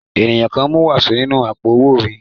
Ènìyàn kan mú wàsó nínú àpò-owó mi.